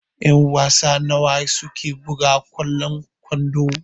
Ƴan-wasa nawa suke buga kwallon kwando?